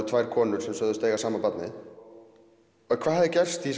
tvær konur sögðust eiga sama barnið en hvað hefði gerst í